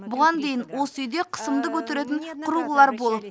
бұған дейін осы үйде қысымды көтеретін құрылғылар болып